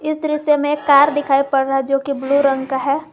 इस दृश्य में एक कार दिखाई पड़ रहा है जो कि ब्लू रंग का है।